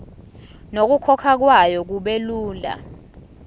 nokukhokhwa kwayo kubelula